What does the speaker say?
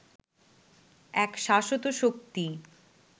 এক শাশ্বত শক্তি